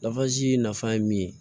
nafa ye min ye